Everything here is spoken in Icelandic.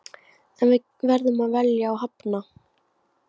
En við verðum að velja og hafna.